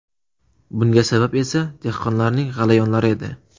Bunga sabab esa dehqonlarning g‘alayonlari edi.